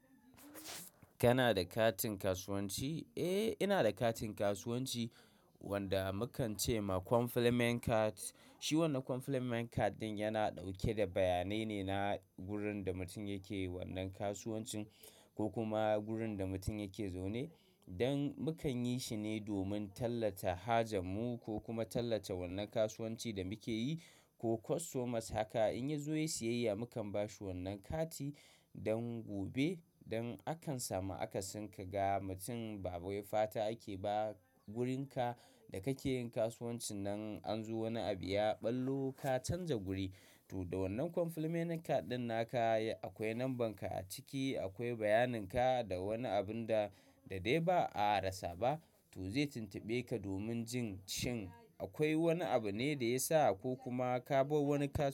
Kana da katin kasuwanci? Eh, ina da katin kasuwanci wanda mukan ce ma complement card. Shi wannan complement card ɗin yana ɗauke da bayanai ne na gurin da mutum yake yin wannan kasuwanci ko kuma gurin da mutum yake zaune. Don mukan yi shi ne domin tallata haja mu ko kuma tallata wannan kasuwanci da muke yi. Ko kwatomas haka in ya zo ya yi siyayya mukan ba shi wannan kati. Don gobe, don akan samu akasin ka ga mutum ba wai fata ake ba wurin ka da kake yin kasuwanci nan an zo wani abu ya ɓallo ka canja guri. To da wannan complement card ɗin naka akwai lamban ka a ciki, akwai bayaninka da wani abun da da dai ba a rasa ba. To zai tuntube ka domin jin shin akwai wani abu ne da ya sa ko kuma ka bar wani kaso.